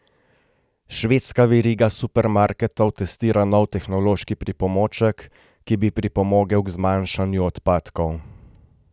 Švedska veriga supermarketov testira nov tehnološki pripomoček, ki bi pripomogel k zmanjšanju odpadkov.